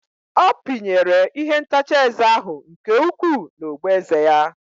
Ọ pinyere ihe ntacha eze ahụ nke ukwuu n'ogboeze ya.